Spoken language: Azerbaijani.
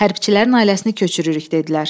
Hərbiçilərin ailəsini köçürürük, dedilər.